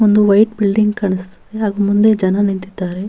ಒಂದು white building ಕಾಣಿಸ್ತಿದೆ ಹಾಗೂ ಮುಂದೆ ಜನ ನಿಂತಿದ್ದಾರೆ.